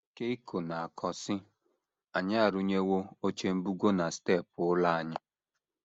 Keiko na - akọ, sị: “ Anyị arụnyewo oche mbugo na steepụ ụlọ anyị.